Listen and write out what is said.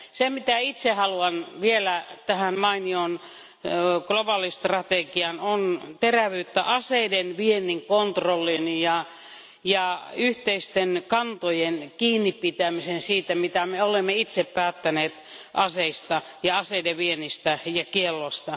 Se, mitä itse haluan vielä tähän mainioon globaalistrategiaan, on terävyyttä aseiden viennin kontrolliin ja yhteisten kantojen kiinnipitämiseen siitä, mitä me olemme itse päättäneet aseista ja aseiden viennistä ja sen kiellosta.